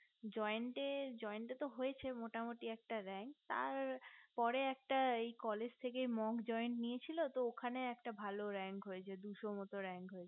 joint টে joint টে হয়েছে মোটামোটি একটা rank তার পরে একটা college থেকে একটা monk joint নিয়েছিল তো ওখানে একটা ভালো rank হয়েছে প্রায় দুশোর মতো